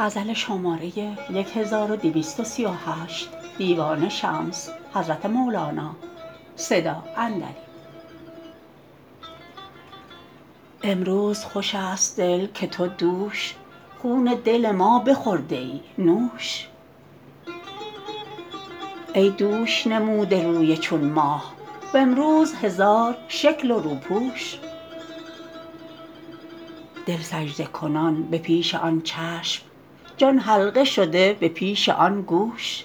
امروز خوش است دل که تو دوش خون دل ما بخورده ای نوش ای دوش نموده روی چون ماه و امروز هزار شکل و روپوش دل سجده کنان به پیش آن چشم جان حلقه شده به پیش آن گوش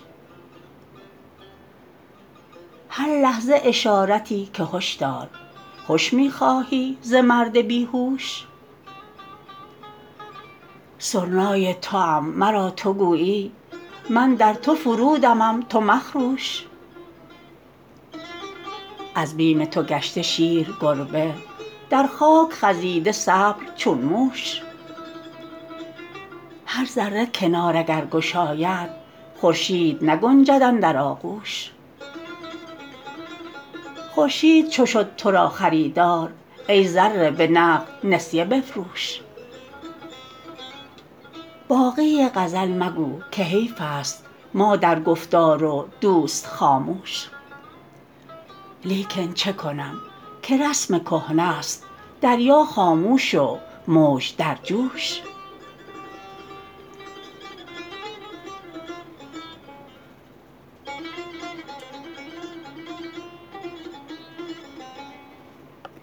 هر لحظه اشارتی که هش دار هش می خواهی ز مرد بی هوش سرنای توام مرا تو گویی من در تو فرودمم تو مخروش از بیم تو گشته شیر گربه در خاک خزیده صبر چون موش هر ذره کنار اگر گشاید خورشید نگنجد اندر آغوش خورشید چو شد تو را خریدار ای ذره به نقد نسیه بفروش باقی غزل مگو که حیفست ما در گفتار و دوست خاموش لیکن چه کنم که رسم کهنه ست دریا خاموش و موج در جوش